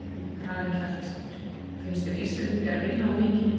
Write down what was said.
Karen Kjartansdóttir: Finnst þér Íslendingar vinna of mikið?